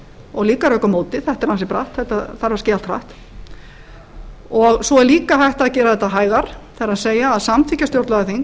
og líka rök á móti þetta er ansi bratt þetta þarf að gerast hratt og svo er líka hægt að gera þetta hægar það er að samþykkja stjórnlagaþing